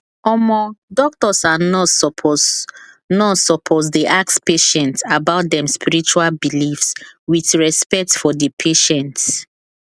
omo doctors and nurse supposed nurse supposed dey ask patients about them spiritual beliefs with respect for the patient